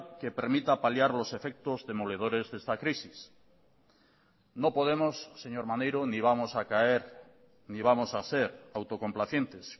que permita paliar los efectos demoledores de esta crisis no podemos señor maneiro ni vamos a caer ni vamos a ser autocomplacientes